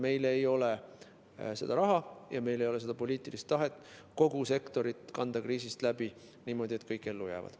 Meil ei ole seda raha ja meil ei ole poliitilist tahet kanda kogu sektorit kriisist läbi niimoodi, et kõik ellu jääksid.